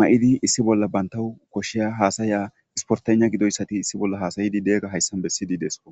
maiidi issi bolla bantawu koshiya haasaya isportena gidoyssati issi bolla haasayidi de'iga hayssan bessidi deesko